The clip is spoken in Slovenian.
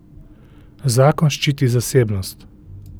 Zakon ščiti zasebnost.